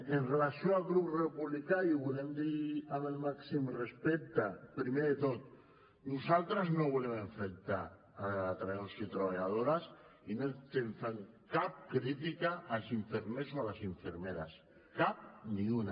amb relació al grup republicà i ho volem dir amb el màxim respecte primer de tot nosaltres no volem enfrontar treballadors i treballadores i no estem fent cap crítica als infermers o a les infermeres cap ni una